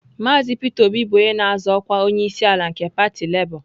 Mazị Peter Obi bụ onye na-azọ ọkwa onyeisiala nke pati Lebọ.